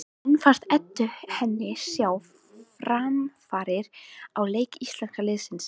En fannst Eddu henni sjá framfarir á leik íslenska liðsins?